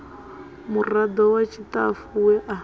murado wa tshitafu we a